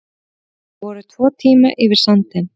Voru tvo tíma yfir sandinn